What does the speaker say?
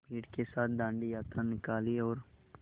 भीड़ के साथ डांडी यात्रा निकाली और